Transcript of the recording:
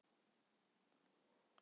Og hvað tók við?